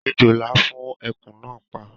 Èjòlá fún eku náà pa